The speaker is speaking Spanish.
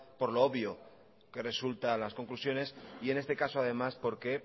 por lo obvio que resultan las conclusiones y en este caso además porque